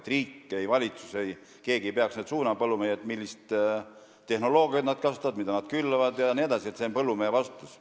Ei riik, valitsus ega keegi muu ei peaks põllumehi suunama ega ütlema, millist tehnoloogiat kasutada, mida külvata jne, see on põllumehe vastutus.